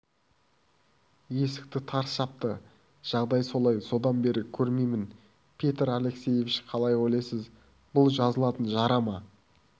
есікті тарс жапты жағдай солай содан бері көрмеймін петр алексеевич қалай ойлайсыз бұл жазылатын жара ма